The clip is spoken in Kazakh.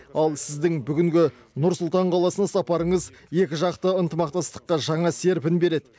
ал сіздің бүгінгі нұр сұлтан қаласына сапарыңыз екіжақты ынтымақтастыққа жаңа серпін береді